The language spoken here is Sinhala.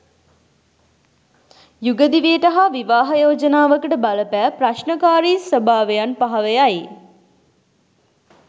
යුග දිවියට හා විවාහ යෝජනාවකට බලපෑ ප්‍රශ්නකාරී ස්භාවයන් පහව යයි.